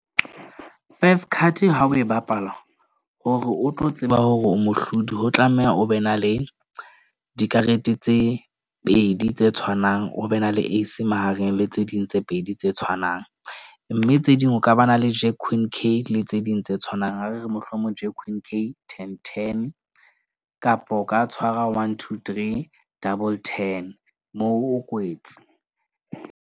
Five card ha o e bapala hore o tlo tseba hore o mohlodi. Ho tlameha o be na le dikarete tse pedi tse tshwanang, o be na le ace mahareng le tse ding tse pedi tse tshwanang. Mme tse ding ho ka ba na le le tse ding tse tshwanang. Ha re re mohlomong ten, ten, kapo o ka tshwara one, two, three, double ten moo o kwetse.